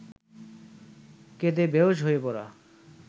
কেঁদে বেঁহুশ হয়ে পড়া